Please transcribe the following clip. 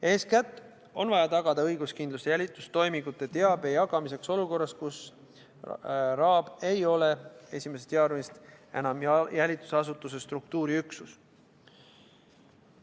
Eeskätt on vaja tagada õiguskindlus jälitustoimingute teabe jagamiseks olukorras, kus RAB ei ole 1. jaanuarist enam jälitusasutuse struktuuriüksus.